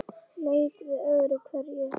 Leit við öðru hverju.